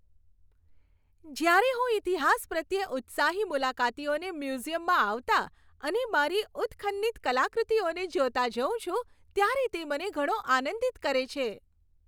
જ્યારે હું ઈતિહાસ પ્રત્યે ઉત્સાહી મુલાકાતીઓને મ્યુઝિયમમાં આવતા અને મારી ઉત્ખન્નિત કલાકૃતિઓને જોતાં જોઉં છું, ત્યારે તે મને ઘણો આનંદિત કરે છે.